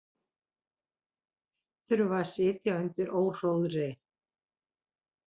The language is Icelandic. Þurfa að sitja undir óhróðri